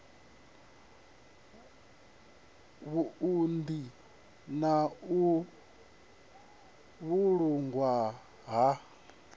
vhuunḓi na u vhulungwa ha